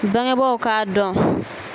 Bangebɔw k'a dɔn.